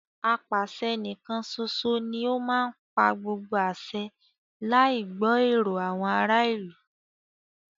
Apàṣẹ níkán ṣoṣo ní o má ń pa gbogbo àṣẹ láì gbọ́ èrò àwọn ará ìlú.